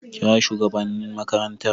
kira shugabannin makarantar